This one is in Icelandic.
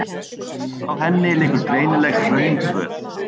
Frá henni liggur greinileg hrauntröð.